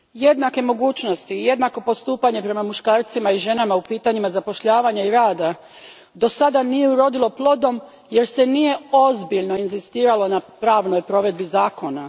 Gospodine predsjedniče, jednake mogućnosti i jednako postupanje prema muškarcima i ženama u pitanjima zapošljavanja i rada do sada nije urodilo plodom jer se nije ozbiljno inzistiralo na pravnoj provedbi zakona.